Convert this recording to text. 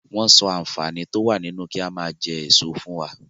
Wọn sọ àǹfààní to wá nínú ki a maa jẹ èso fún wa.